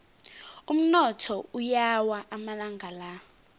umnotho uyawa amalanga la